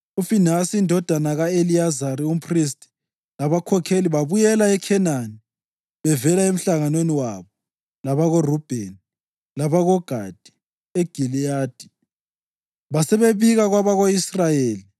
UFinehasi indodana ka-Eliyazari, umphristi, labakhokheli babuyela eKhenani bevela emhlanganweni wabo labakoRubheni labakoGadi eGiliyadi basebebika kwabako-Israyeli.